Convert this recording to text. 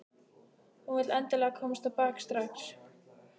Hún vill endilega komast á bak strax.